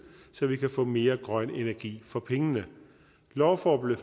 så vi kan få mere grøn energi for pengene loven